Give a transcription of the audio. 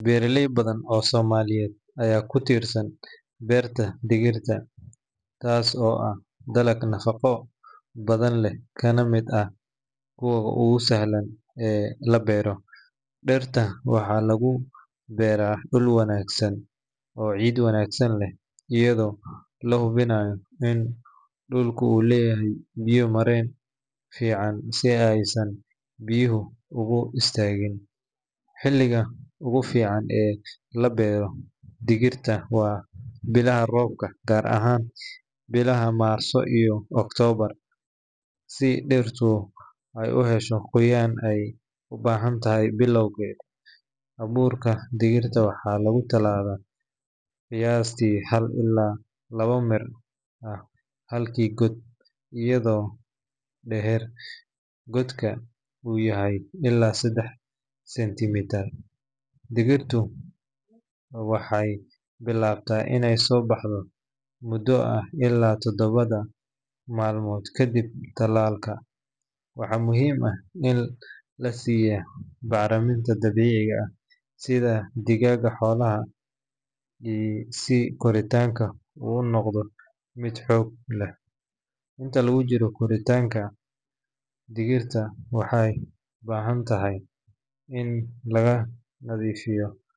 Beeraley badan oo Soomaaliyeed ayaa ku tiirsan beerta digirta, taas oo ah dalag nafaqo badan leh kana mid ah kuwa ugu sahlan ee la beero. Digirta waxaa lagu beeraa dhul wanaagsan oo ciid wanaagsan leh, iyadoo la hubinayo in dhulku uu leeyahay biyo-mareen fiican si aysan biyuhu ugu istaagin. Xilliga ugu fiican ee la beero digirta waa bilaha roobka, gaar ahaan bilaha Maarso iyo Oktoobar, si dhirtu ay u hesho qoyaanka ay u baahan tahay bilowgeeda. Abuurka digirta waxaa lagu tallaalaa qiyaastii hal ilaa laba mir ah halkii god, iyadoo dhererka godka uu yahay ilaa saddex senti mitir. Dhirta digirta waxay bilaabataa inay soo baxdo muddo ah ilaa toddoba maalmood kadib tallaalka. Waxaa muhiim ah in la siiyaa bacriminta dabiiciga ah sida digada xoolaha, si koritaanka uu u noqdo mid xoog leh. Inta lagu jiro koritaanka, digirta waxay u baahan tahay in laga nadiifiy.